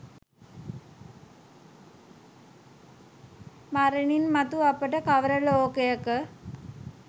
මරණින් මතු අපට කවර ලෝකයක